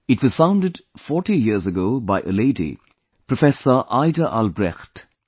It was founded 40 years ago by a lady, Professor Aida Albrecht